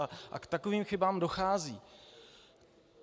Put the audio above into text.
A k takovým chybám dochází.